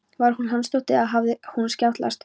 Var hún Hansdóttir eða hafði honum skjátlast?